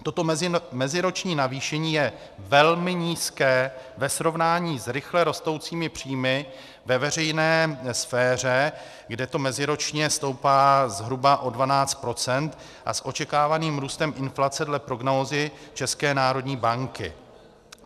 Toto meziroční navýšení je velmi nízké ve srovnání s rychle rostoucími příjmy ve veřejné sféře, kde to meziročně stoupá zhruba o 12 %, a s očekávaným růstem inflace dle prognózy České národní banky.